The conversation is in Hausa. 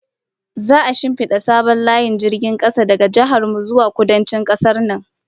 Za'a shinfida sabon layin jirgin kasa daga jihar mu zuwa Kudancin kasar nan